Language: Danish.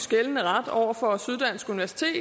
gældende ret over for syddansk universitet